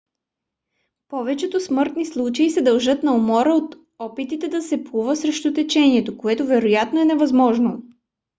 повечето смъртни случаи се дължат на умора от опитите да се плува срещу течението което вероятно е невъзможно